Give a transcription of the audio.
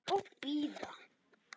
Og bíða.